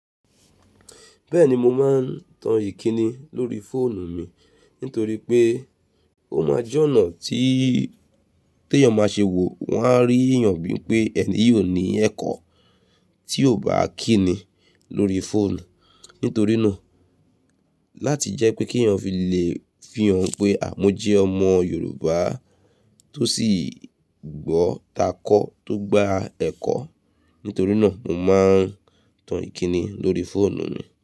Bẹ́ẹ̀ni mo máa ń tan Ìkíni lóri fóònù mi nítorí pé ó máa jẹ́ ọ̀nà tí, tí èèyàn máa ṣe wò wàá rí èèyàn bíi pé ẹni yìí o ní ẹ̀kọ́ tí ò bá kíni lóri fóònù. Nítorí náà, láti jẹ́ pé kí èèyàn fi le fihàn pé à mo jẹ́ ọmọ Yorùbá tó sì gbọ́ takọ́ tó gba ẹ̀kọ́. Nítorí náà mo máa ń tan Ìkíni lóri fóònù mi.